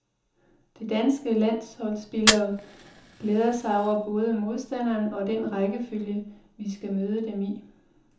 De danske landsholdsspillere glæder sig over både modstandere og den rækkefølge, vi skal møde dem i.